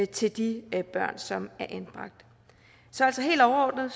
til de børn som er anbragt så så helt overordnet